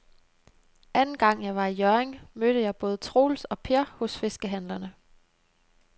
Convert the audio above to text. Anden gang jeg var i Hjørring, mødte jeg både Troels og Per hos fiskehandlerne.